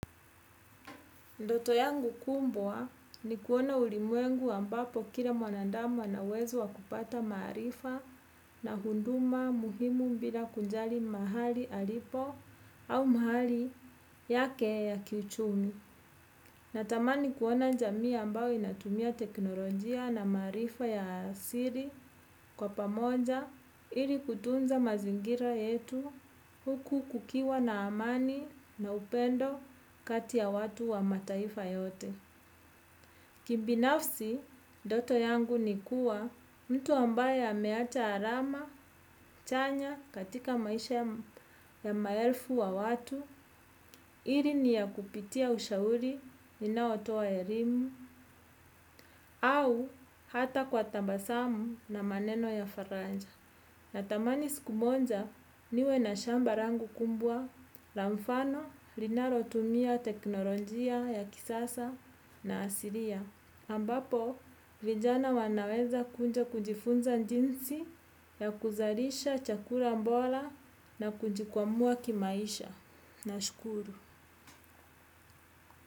Ndoto yangu kumbwa ni kuona ulimwengu ambapo kila mwanandamu anauwezo wa kupata maarifa na hunduma muhimu mbila kunjali mahali alipo au mahali yake ya kiuchumi. Natamani kuona jamii ambayo inatumia teknolojia na maarifa ya siri kwa pamoja ili kutunza mazingira yetu huku kukiwa na amani na upendo kati ya watu wa mataifa yote. Kibinafsi, ndoto yangu ni kuwa mtu ambaye hameata arama, chanya katika maisha ya maelfu wa watu, ili ni ya kupitia ushauri ninaotoa ya elimu, au hata kwa tabasamu na maneno ya faranja. Natamani sikumonja niwe na shamba rangu kumbwa, la mfano, linaro tumia teknolojia ya kisasa na asiria. Ambapo, vijana wanaweza kunja kujifunza njinsi ya kuzarisha chakura mbola na kujikwamua kimaisha. Nashukuru.